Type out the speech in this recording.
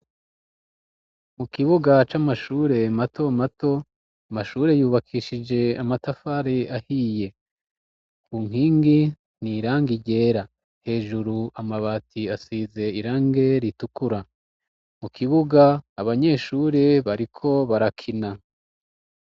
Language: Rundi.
Mu kibuga c'amashure mato mato amashure yubakishije amatafari ahiye ku nkingi ni irangi ryera hejuru amabati asize irangi ritukura mu kibuga abanyeshure bariko barakina.